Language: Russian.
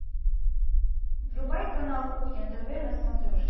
врубай канал кухня тв на смотрешке